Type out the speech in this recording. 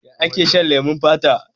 Ya ake shan leman fata?